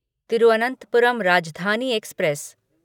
Thiruvananthapuram Rajdhani express